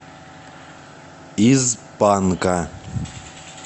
из панка